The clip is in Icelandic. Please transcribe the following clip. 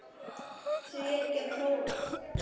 Því ekki að prófa?